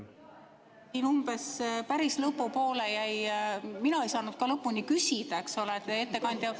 Umbes päris lõpupoole jäi küsimus, mina ei saanud ka lõpuni küsida, eks ole.